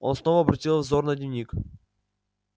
он снова обратил взор на дневник